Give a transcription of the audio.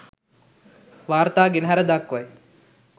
වාර්තා ගෙනහැර දක්වයි